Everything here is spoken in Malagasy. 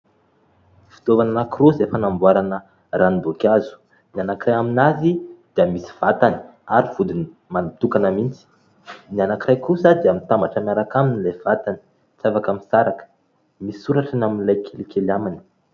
Fitaovana anankiroa izay fanamboarana ranomboankazo ny anankiray amin'azy dia misy vatany ary vodiny mitokana mihitsy ny anankiray kosa dia mitambatra miaraka amin'ilay vatany tsy afaka misaraka misy soratra ny amin'ilay kelikely aminy